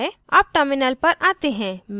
अब terminal पर आते हैं